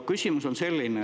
Küsimus on selline.